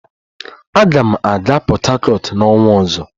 Aga m aga Port Harcourt n'ọnwa ọzọ